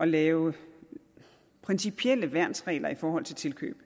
lave principielle værnsregler i forhold til tilkøb